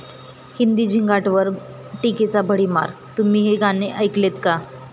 हिंदी 'झिंगाट'वर टीकेचा भडिमार!, तुम्ही हे गाणं ऐकलंत का?